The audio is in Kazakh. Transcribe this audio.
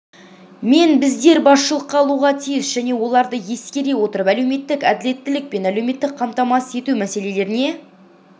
мен біздер басшылыққа алуға тиіс және оларды ескере отырып әлеуметтік әділеттілік пен әлеуметтік қамтамасыз ету мәселелеріне